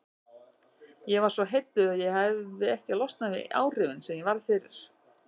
Ég varð svo heilluð að ég hefi ekki losnað við áhrifin sem ég varð fyrir.